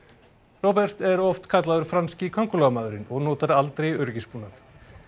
Robert er oft kallaður franski köngulóarmaðurinn og notar aldrei öryggisbúnað